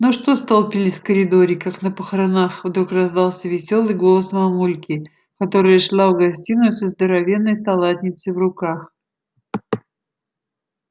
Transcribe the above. ну что столпились в коридоре как на похоронах вдруг раздался весёлый голос мамульки которая шла в гостиную со здоровенной салатницей в руках